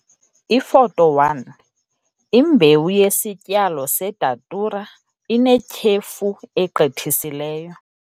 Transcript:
Ifoto 1- Imbewu yesityalo seDatura inetyhefu egqithiseleyo.